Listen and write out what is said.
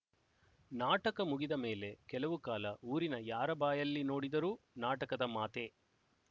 ನಾಟಕ ಮುಗಿದಮೇಲೆ ಕೆಲವು ಕಾಲ ಊರಿನ ಯಾರ ಬಾಯಲ್ಲಿ ನೋಡಿದರೂ ನಾಟಕದ ಮಾತೇ